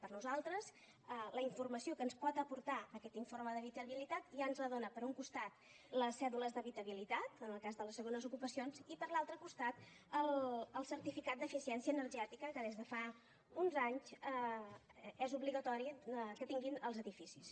per nosaltres la informació que ens pot aportar aquest informe d’habitabilitat ja ens la donen per un costat les cèdules d’habitabilitat en el cas de les segons ocupacions i per l’altre costat el certificat d’eficiència energètica que des de fa uns anys és obligatori que tinguin els edificis